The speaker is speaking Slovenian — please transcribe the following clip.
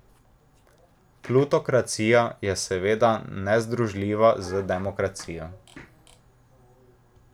Plutokracija je seveda nezdružljiva z demokracijo.